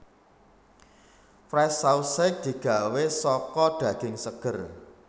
Fresh Sausage digawé saka daging seger